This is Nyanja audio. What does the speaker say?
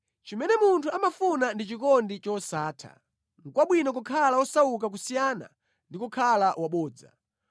Chimene munthu amafuna ndi chikondi chosatha; nʼkwabwino kukhala wosauka kusiyana ndi kukhala wabodza.